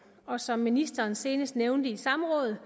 og som ministeren senest nævnte i samrådet